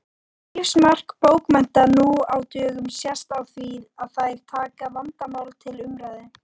Lífsmark bókmennta nú á dögum sést á því að þær taka vandamál til umræðu.